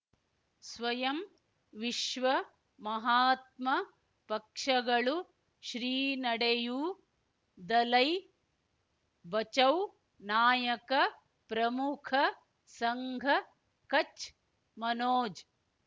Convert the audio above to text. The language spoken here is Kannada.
ಸ್ವಯಂ ವಿಶ್ವ ಮಹಾತ್ಮ ಪಕ್ಷಗಳು ಶ್ರೀ ನಡೆಯೂ ದಲೈ ಬಚೌ ನಾಯಕ ಪ್ರಮುಖ ಸಂಘ ಕಚ್ ಮನೋಜ್